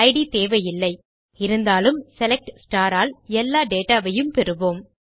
it தேவையில்லை இருந்தாலும் select all எல்லா டேட்டா வையும் பெறுவோம்